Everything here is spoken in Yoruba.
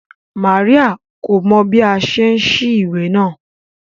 Maria ko ni mọ bi a ṣe n sí ìwé náà.